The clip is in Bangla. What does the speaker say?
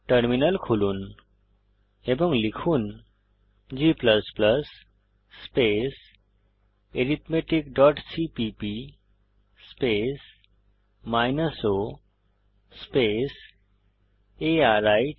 টার্মিনাল খুলুন এবং লিখুন g arithmeticসিপিপি o আরিথ